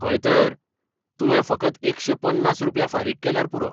हय तर, तुवें फकत एकशे पन्नास रुप्या फारीक केल्यार पुरो.